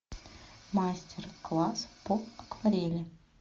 мастер класс по акварели